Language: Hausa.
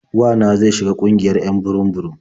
Wa na zai shiga ƙungiyar 'yan burum-burum.